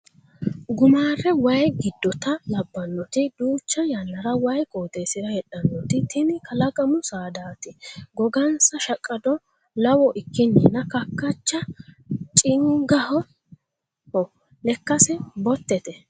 Gumare waayi giddotta labbanoti duucha yannna waayi qoxeesira heedhanoti tini kalaqamu saadati gogonsa shaqqado lawo ikkininna kakkacha chingaho lekkansa botete.